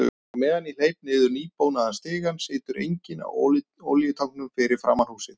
Á meðan ég hleyp niður nýbónaðan stigann situr enginn á olíutanknum fyrir framan húsið.